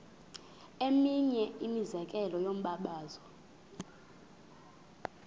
eminye imizekelo yombabazo